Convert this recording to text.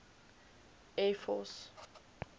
air force